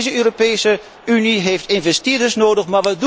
Deze Europese Unie heeft investeerders nodig.